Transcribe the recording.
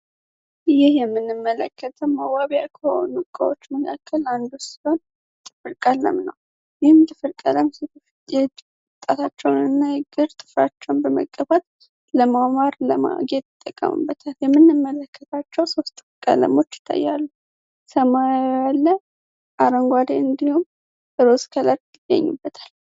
እይህ የምንም መለከተም አዋቢ ያ ኮኑቋዎች መካከል አንዱ ሲሆን ጥፍርቀለም ነው ይህም ትፍርቀለም ሲት የምጣታቸውን እና እግር ትፍራቸውን በመቀባት ለማውማር ለማጌት ጠቀሙበታል የምንምመለከታቸው ሦስት ፍቀለሞች ተያሉ ሰማያለ አረንጓዴ እንዲሁም እሮስከላክት ይገኝበታል፡፡